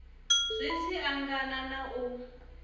zwi tshi angana na u